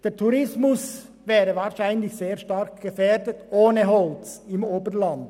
Der Tourismus wäre wahrscheinlich sehr stark gefährdet ohne Holz im Oberland.